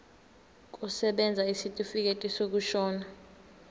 kusebenza isitifikedi sokushona